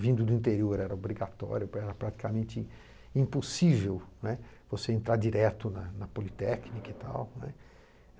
Vindo do interior era obrigatório, praticamente impossível, né, você entrar direto na na Politécnica e tal, né.